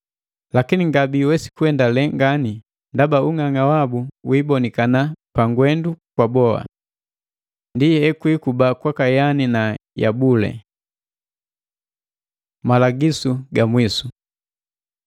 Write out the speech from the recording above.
Lakini ngabiwesi kuendalee ngani ndaba ung'ang'a wabu wibonikana pangwendu kwa boa. Ndi ekwikuba kwaka Yane na Yabule. Malagisu ga mwisu